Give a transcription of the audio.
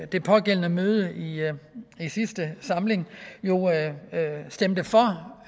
det pågældende møde i sidste samling stemte for